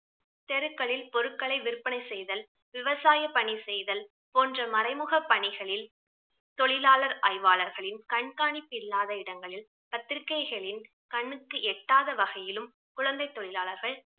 தெருக்களில் பொருட்களை விற்பனை செய்தல், விவசாய பணி செய்தல் போன்ற மறைமுக பணிகளில் தொழிலாளர் ஆய்வாளர்களின் கண்காணிப்பில்லாத இடங்களில் பத்திரிகைகளின் கண்ணுக்கு எட்டாத வகையிலும் குழந்தை தொழிலாளர்கள்